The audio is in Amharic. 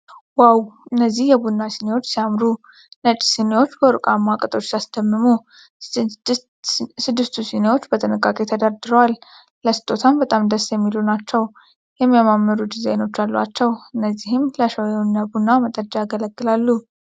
ዋው ! እነዚህ የቡና ስኒዎች ሲያምሩ ! ነጭ ሲኒወች በወርቃማ ቅጦች ሲያስደምሙ !። ስድስቱ ስኒዎች በጥንቃቄ ተደርድረዋል ። ለስጦታ በጣም ደስ የሚሉ ናቸው። የሚያማምሩ ዲዛይኖች አሏቸው። እነዚህ ለሻይ ወይም ቡና መጠጫ ያገለግላሉ።